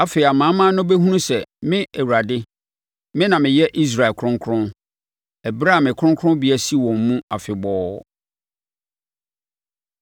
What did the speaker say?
Afei amanaman no bɛhunu sɛ me Awurade, me na meyɛ Israel kronkron, ɛberɛ a me kronkronbea si wɔn mu afebɔɔ.’ ”